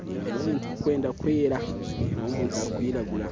ndeebamu ebintu birikwenda kwera ndeeba omuntu arikwiragura